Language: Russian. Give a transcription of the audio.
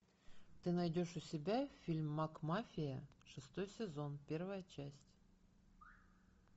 ты найдешь у себя фильм макмафия шестой сезон первая часть